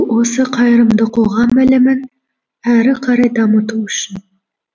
осы қайырымды қоғам ілімін әрі қарай дамыту үшін